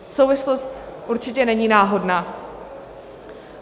Souvislost určitě není náhodná.